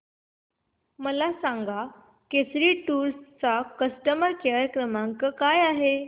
मला सांगा केसरी टूअर्स चा कस्टमर केअर क्रमांक काय आहे